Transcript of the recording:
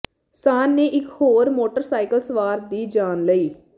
ਸਾਨ੍ਹ ਨੇ ਇੱਕ ਹੋਰ ਮੋਟਰਸਾਈਕਲ ਸਵਾਰ ਦੀ ਜਾਨ ਲਈ